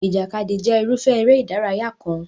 Ìjàkadì jẹ́ irúfẹ́ eré ìdárayá kan.